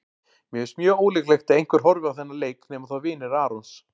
Mér finnst mjög ólíklegt að einhver horfi á þennan leik nema þá vinir Arons.